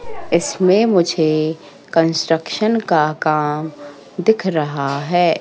इसमें मुझे कंस्ट्रक्शन का काम दिख रहा है।